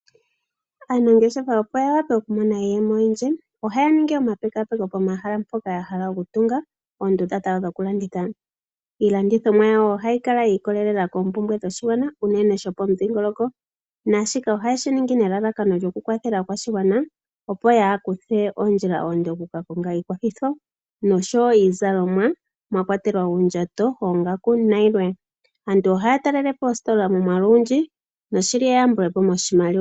Aanangeshefa opo yaadhe oku mona iiyemo oyindji, ohaya ningi omapekapeko pomahala mpoka yahala oku tunga oondunda dhawo dhokulanditha. Iilandithomwa yawo ohayi kala yiikolelela koompumbwe dhoshigwana uunene shopomudhingoloko naashika ohayeshiningi nelalakano lyo ku kwathela aakwashigwana opo yaakuthe ondjila oonde oku ka konga iikwathitho noshowo iizalomwa mwa kwatelwa uundjato, oongaku nayilwe. Aantu ohaa talelepo oositola momwalu ogundji noshili eyambulepo moshimaliwa.